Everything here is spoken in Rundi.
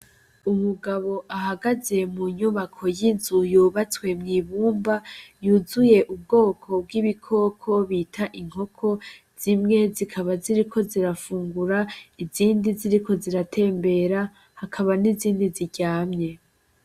Umugabo ahagaze mu nyubako y'inzu yubatswe mw'ibumba yuzuye ubwoko bw'ibikoko bita inkoko zimwe zikaba ziriko zirafungura izindi ziriko ziratembera hakaba n'izindi ziryamye.